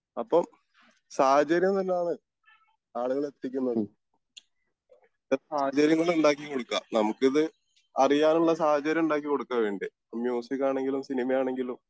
അപ്പോം സാഹചര്യം എന്നാണ് ആളുകളെ എത്തിക്കുന്നതും. അത്തരം സാഹചര്യങ്ങള് ഉണ്ടാക്കി കൊടുക്കേ നമുക്കിത് അറിയാനുള്ള സാഹചര്യം ഉണ്ടാക്കി കൊടുക്കേ വേണ്ടെ ഇപ്പൊ മ്യുസിക്ക് ആണെങ്കിലും സിനിമയാണെങ്കിലും